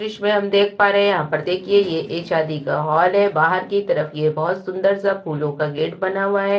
दृश्य हम देख पा रहे हैं यहां पर देखिए यह एक शादी का हॉल है बाहर की तरफ यह बोहोत सुंदर सा फूलों का गेट बना हुआ है।